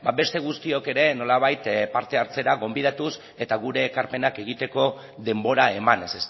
beste guztiok ere nolabait parte hartzera gonbidatuz eta gure ekarpenak egiteko denbora emanez